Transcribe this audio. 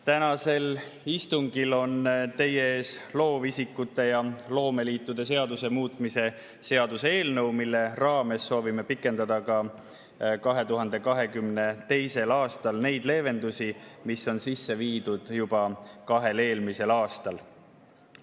Tänasel istungil on teie ees loovisikute ja loomeliitude seaduse muutmise seaduse eelnõu, mille raames soovime 2022. aastal pikendada neid leevendusi, mis olid sisse viidud juba kahel eelmisel aastal.